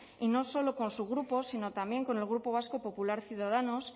y no solo con su grupo sino también con el grupo vasco popular ciudadanos